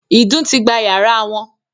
“ìdun ” ti gba yàrá wọn